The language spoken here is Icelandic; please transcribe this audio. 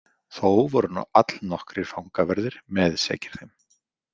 Þó voru allnokkrir fangaverðir meðsekir þeim.